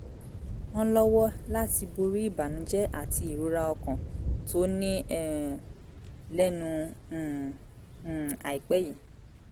án lọ́wọ́ láti borí ìbànújẹ́ àti ìrora ọkàn tó ní um lẹ́nu um um àìpẹ́ yìí